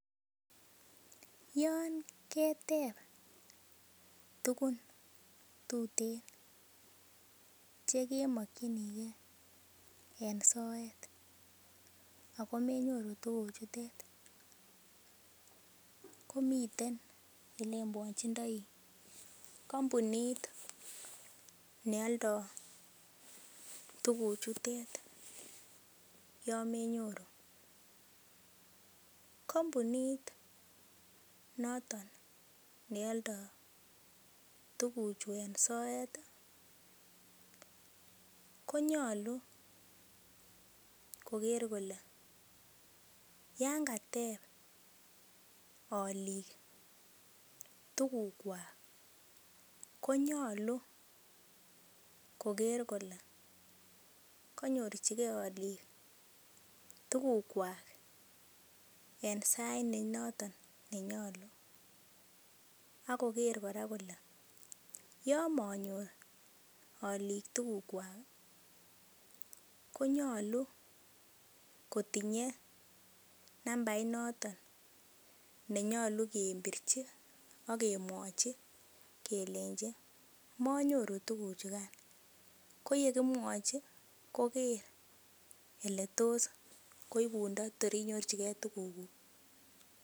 yoon keteb tugun tuten chekemokyinikee en soet akomenyoru tuguchutet komiten ele mwochindoi kompunit noton neoldo tuguchu en soeti konyolu koker kole yoon kateb olik tugukwak konyolu koker kole kanyorchikee olik tugukwak en sait nenotok nenyolu akoker kora kole yoon monyor olik tugukwak konyolu kotinye nambait notok nenyolu kebirchin akemwochi kelenchi manyoru tuguchukan koyekimwochi koker ele tos koibundo kotor inyorchikee tuguk